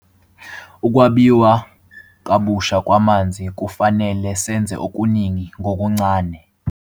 Ukwabiwa kabusha kwamanzi - kufanele senze okuningi ngokuncane.